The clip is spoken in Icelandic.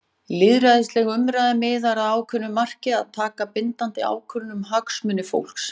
Lýðræðisleg umræða miðar að ákveðnu marki- að taka bindandi ákvörðun um hagsmuni fólks.